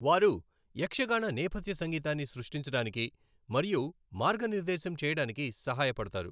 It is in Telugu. వారు యక్షగాన నేపథ్య సంగీతాన్ని సృష్టించడానికి మరియు మార్గనిర్దేశం చేయడానికి సహాయపడతారు.